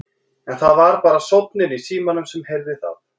En það var bara sónninn í símanum sem heyrði það.